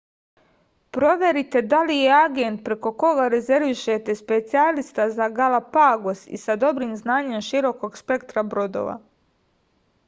proverite da li je agent preko koga rezervišete specijalista za galapagos i sa dobrim znanjem širokog spektra brodova